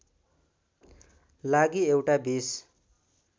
लागि एउटा २०